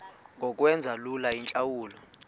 ngokwenza lula iintlawulo